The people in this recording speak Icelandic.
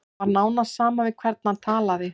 Það var nánast sama við hvern hann talaði.